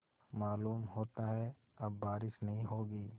मालूम होता है अब बारिश नहीं होगी